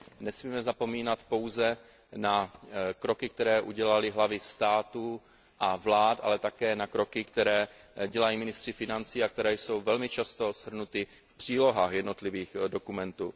Nesmíme vzpomínat pouze na kroky, které udělaly hlavy států a vlád, ale také na kroky, které dělají ministři financí a které jsou velmi často shrnuty v přílohách jednotlivých dokumentů.